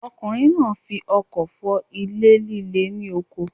Ọkùnrin náà fi ọkọ́ fọ́ ilẹ̀ líle ní oko.